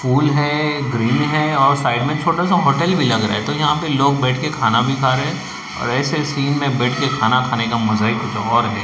Pool है grill है और साइड में छोटा सा होटल भी लग रहा है तो यहां पे लोग बैठ के खाना भी खा रहे हैं और ऐसे सीन में बैठ के खाना खाने का मजा ही कुछ और है।